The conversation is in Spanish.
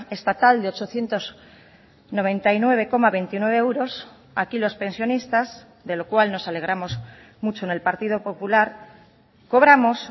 estatal de ochocientos noventa y nueve coma veintinueve euros aquí los pensionistas de lo cual nos alegramos mucho en el partido popular cobramos